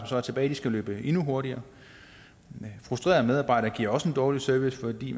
så er tilbage skal løbe endnu hurtigere frustrerede medarbejdere giver også en dårlig service fordi